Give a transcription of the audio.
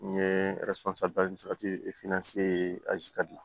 N ye dilan